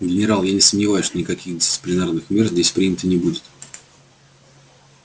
генерал я не сомневаюсь что никаких дисциплинарных мер здесь принято не будет